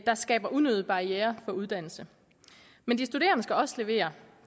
der skaber unødige barrierer for uddannelse men de studerende skal også levere